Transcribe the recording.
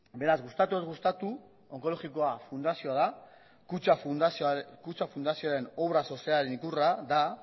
beraz gustatu edo ez gustatu onkologikoa fundazioa da kutxa fundazioaren obra sozialaren ikurra da